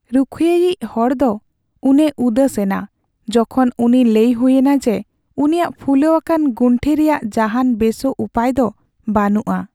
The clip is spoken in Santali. ᱨᱩᱠᱷᱟᱹᱭᱤᱤᱡ ᱦᱚᱲ ᱫᱚ ᱩᱱᱮ ᱩᱫᱟᱹᱥᱮᱱᱟ ᱡᱚᱠᱷᱚᱱ ᱩᱱᱤ ᱞᱟᱹᱭ ᱦᱩᱭᱮᱱᱟ ᱡᱮ ᱩᱱᱤᱭᱟᱜ ᱯᱷᱩᱞᱟᱹᱣ ᱟᱠᱟᱱ ᱜᱩᱱᱴᱷᱤ ᱨᱮᱭᱟᱜ ᱡᱟᱦᱟᱱ ᱵᱮᱥᱚᱜ ᱩᱯᱟᱹᱭ ᱫᱚ ᱵᱟᱹᱱᱩᱜᱼᱟ